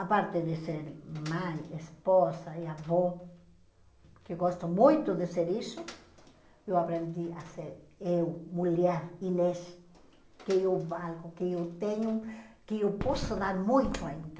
A parte de ser mãe, esposa e avó, que gosto muito de ser isso, eu aprendi a ser eu, mulher, Inês, que eu valgo, que eu tenho, que eu posso dar muito ainda.